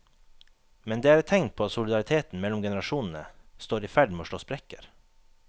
Men det er tegn på at solidariteten mellom generasjonene står i ferd med å slå sprekker.